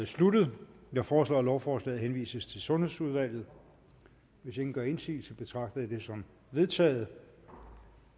sluttet jeg foreslår at lovforslaget henvises til sundhedsudvalget hvis ingen gør indsigelse betragter jeg det som vedtaget